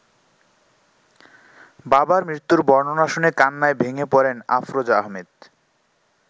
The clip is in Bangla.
বাবার মৃত্যুর বর্ণনা শুনে কান্নায় ভেঙে পড়েন আফরোজা আহমেদ।